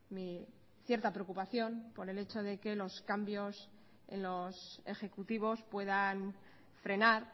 mi cierta preocupación por el hecho de que los cambios en los ejecutivos puedan frenar